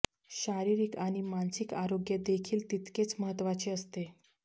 शारिरिक आणि मानसिक आरोग्य देखील तितकेच महत्त्वाचे असते